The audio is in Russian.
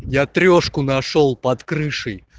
я трёшку нашёл под крышей